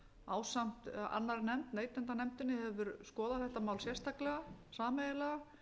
ásamt annarri nefnd neytendanefndinni hefur skoðað þetta mál sérstaklega sameiginlega